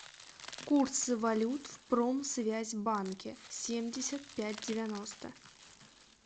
курсы валют в промсвязьбанке семьдесят пять девяносто